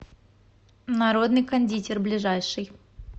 народный кондитер ближайший